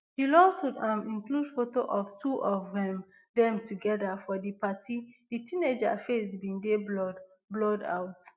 di lawsuit um include photo of two of um dem together for di party di teenager face bin dey blurred blurred out